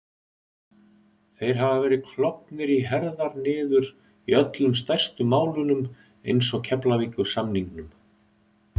Þeir hafa verið klofnir í herðar niður í öllum stærstu málunum eins og Keflavíkursamningnum